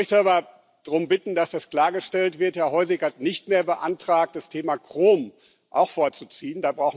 Ich möchte aber darum bitten, dass das klargestellt wird Herr Hojsík hat nicht mehr beantragt, das Thema Chrom auch vorzuziehen.